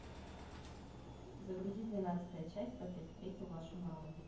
загрузи двенадцатая часть как я встретил вашу маму